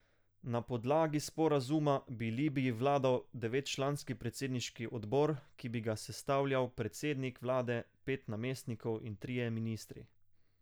Na podlagi sporazuma bi Libiji vladal devetčlanski predsedniški odbor, ki bi ga sestavljal predsednik vlade, pet namestnikov in trije ministri.